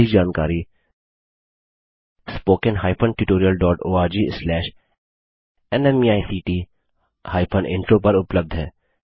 अधिक जानकारी spoken hyphen tutorial dot org slash NMEICT hyphen intro पर उपलब्ध है